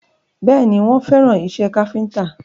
Bẹ́ẹ̀ni, wọ́n fẹ́ràn ìṣe káfíntà